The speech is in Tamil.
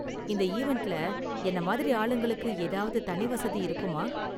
இந்த ஈவண்ட்ல என்ன மாதிரி ஆளுங்களுக்கு ஏதாவது தனி வசதி இருக்குமா?